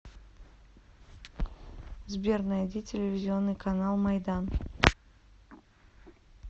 сбер найди телевизионный канал майдан